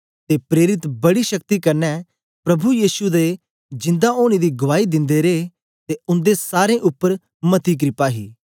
ते प्रेरित बड़ी शक्ति कन्ने प्रभु यीशु दे जिंदा ओनें दी गुआई दिंदे रे ते उंदे सारें उपर मती क्रपा ही